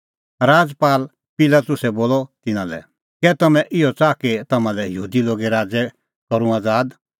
राजपाल पिलातुसै बोलअ तिन्नां लै कै तम्हैं इहअ च़ाहा कि तम्हां लै यहूदी लोगे राज़ै करूं आज़ाद